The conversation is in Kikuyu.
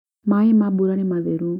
maaĩ ma bura nĩ matheru